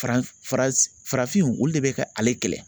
Farafin farafinw olu de bi ka ale kɛlɛ